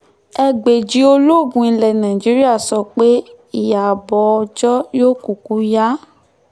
ẹgbẹ̀ji olóògùn ilẹ̀ nàìjíríà sọ pé ìyàbọ̀ ọjọ́ yóò kúkú ìyá